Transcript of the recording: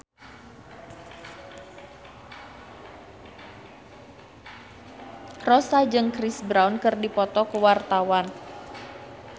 Rossa jeung Chris Brown keur dipoto ku wartawan